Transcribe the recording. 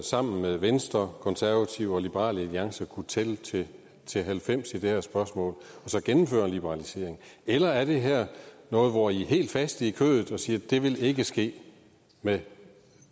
sammen med venstre konservative og liberal alliance kunne tælle til til halvfems i det her spørgsmål og så gennemføre en liberalisering eller er det her noget hvor i er helt faste i kødet og siger at det vil ikke ske med